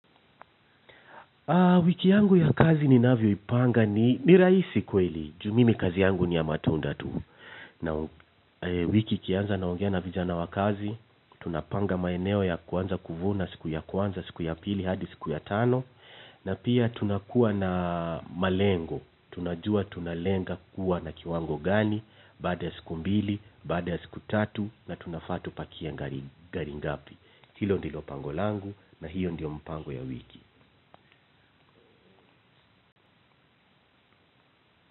Aa wiki yangu ya kazi ni navyoipanga ni ni rahisi kweli juu mimi kazi yangu ni ya matunda tu na wiki ikianza naongea na vijana wa kazi tunapanga maeneo ya kuanza kuvuna siku ya kwanza siku ya pili hadi siku ya tano na pia tunakuwa na malengo tunajua tunalenga kuwa na kiwango gani baada ya siku mbili baada ya siku tatu na tunafaa tupakie gari ngapi hilo ndilo pango langu na hiyo ndiyo mpango ya wiki.